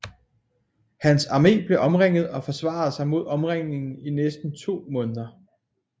Hans armé blev omringet og forsvarede sig mod omringningen i næsten to måneder